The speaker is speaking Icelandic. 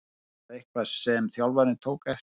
Er það eitthvað sem þjálfarinn tók eftir?